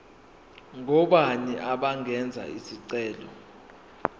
ngobani abangenza isicelo